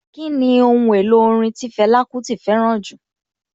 Kíni Ohun èlò orin tí Fẹlá Kúti fẹ́ràn jù?